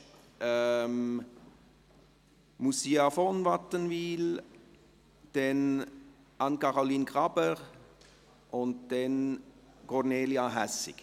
zuerst Moussia von Wattenwyl, dann Anne-Caroline Graber und schliesslich Kornelia Hässig.